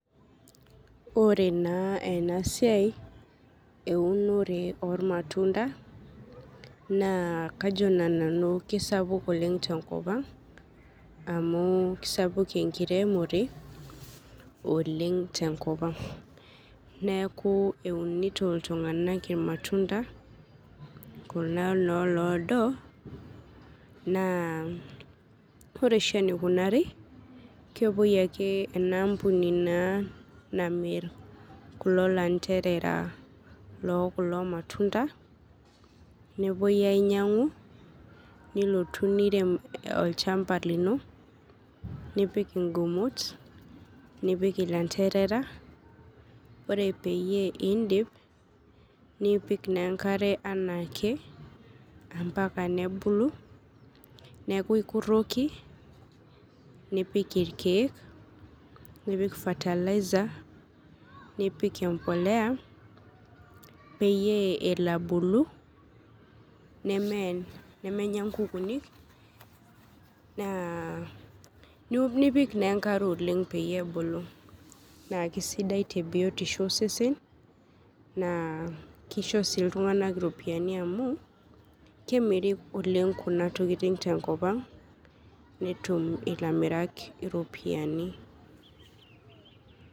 Ore naa enasiai eunore olmatunda naa kajo naa nanu keisapuk oleng' tenkopang' amuu sapuk enkiremore oleng' tenkopang'. Neaku eunito iltung'anak ilmatunda kuna naa loodo naa ore oshi eneikunari naa kepuoi ake enaampuni naa namirr kulo lantereera lookulo  matunda nepuoi ainyang'u nilotu nirem olchamba lino, nipik ingumot nipik ilanteerera, ore peyie indip nipik naaenkare anaake ampaka nebulu, neaku ikurroki nipik ilkeek nipik  fertilizer, nipik empolea peyie eloabulu nemeye, nemenya inkukuni naa, nipik naa enkae oleng' peyie ebulu. Naake sidai tebiotisho osesen naa keisho sii iltung'ana iropiani amu kemiri oleng' kuna tokitin tenkopang' netum ilamirak iropiani.